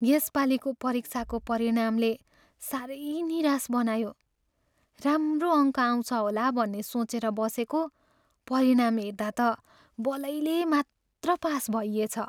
यसपालिको परीक्षाको परिणामले साह्रै निराश बनायो। राम्रो अङ्क आउँछ होला भन्ने सोचेर बसेको, परिणाम हेर्दा त बलैले मात्र पास भइएछ।